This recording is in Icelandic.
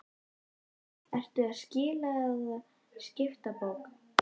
Breki: Ert þú að skila eða skipta bók?